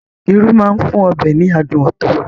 Irú máa ń fún ọbẹ̀ ní adùn ọtọ̀